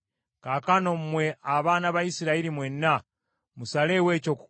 Kaakano mmwe abaana ba Isirayiri mwenna, musaleewo eky’okukola.”